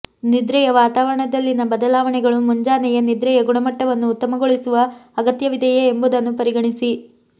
ನಿದ್ರೆಯ ವಾತಾವರಣದಲ್ಲಿನ ಬದಲಾವಣೆಗಳು ಮುಂಜಾನೆಯೇ ನಿದ್ರೆಯ ಗುಣಮಟ್ಟವನ್ನು ಉತ್ತಮಗೊಳಿಸುವ ಅಗತ್ಯವಿದೆಯೇ ಎಂಬುದನ್ನು ಪರಿಗಣಿಸಿ